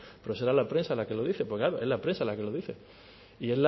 pero será la prensa la que lo dice porque claro es la prensa la que lo dice y